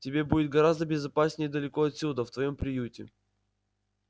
тебе будет гораздо безопаснее далеко отсюда в твоём приюте